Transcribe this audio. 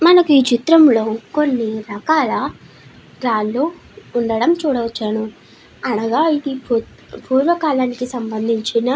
మనకి ఈ చిత్రం లో కొన్ని రకాల రాళ్లు లు ఉండటం చూడవచ్చాను అనగా ఇది పూర్వ కలం కి సమందిన్చున --